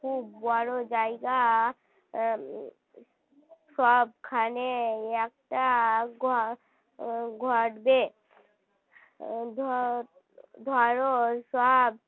খুব বড় জায়গা সবখানে একটা . উম ধরো সব